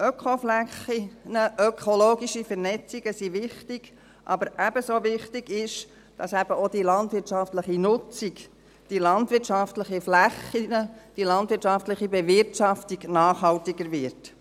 Ökoflächen, ökologische Vernetzungen sind wichtig, aber ebenso wichtig ist es, dass die landwirtschaftliche Nutzung, die landwirtschaftlichen Flächen, die landwirtschaftliche Bewirtschaftung nachhaltiger wird.